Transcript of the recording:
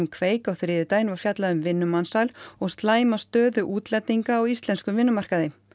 kveik á þriðjudaginn var fjallað um vinnumansal og slæma stöðu útlendinga á íslenskum vinnumarkaði